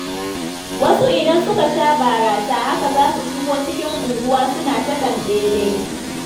Wasu idan suka sha barasa, haka za su shigo cikin unguwa suna ta tanɓele.